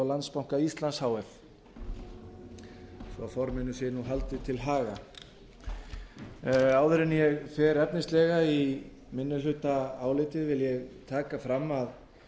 landsbanka íslands h f svo forminu sé haldið til haga áður en ég fer efnislega í minnihlutaálitið vil ég taka fram að